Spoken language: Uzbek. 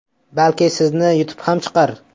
Balki sizni yutib ham chiqar.